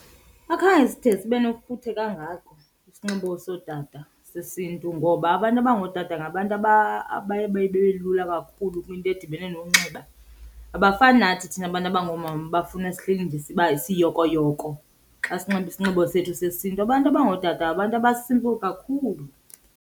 Akhange side sibe nofuthe kangako isinxibo sootata sesiNtu ngoba abantu abangootata ngabantu abaye babelula kakhulu kwinto edibene nonxiba. Abafani nathi thina bantu abangoomama abafuna sihleli nje siyokoyoko xa sinxibe isinxibo sethu sesiNtu. Abantu abangootata ngabantu aba-simple kakhulu.